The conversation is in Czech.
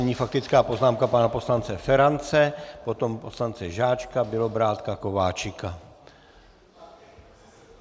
Nyní faktická poznámka pana poslance Ferance, potom poslance Žáčka, Bělobrádka, Kováčika.